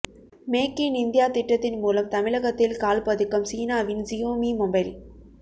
make in India திட்டத்தின் மூலம் தமிழகத்தில் கால் பதிக்கும் சீனாவின் சியோமி மொபைல்